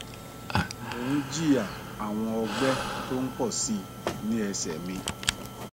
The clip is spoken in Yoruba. mò ń jìyà àwọn ọgbẹ tó ń pọ sí i ní ẹsẹ mi